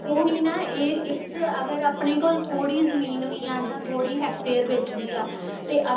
ਉਹੀ ਨਾ ਇਹ ਇਸ ਚ ਅਗਰ ਆਪਣੇ ਕੋਲ ਥੋੜੀ ਜਮੀਨ ਵੀ ਆ ਜਾ ਥੋੜੀ hectare ਵਿੱਚ ਵੀ ਆ ਤੇ ਅਗਰ